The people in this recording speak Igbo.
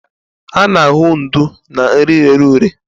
A na-ahụ ndú na nri rere ure.